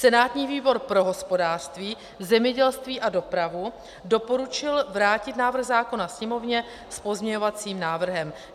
Senátní výbor pro hospodářství, zemědělství a dopravu doporučil vrátit návrh zákona Sněmovně s pozměňovacím návrhem.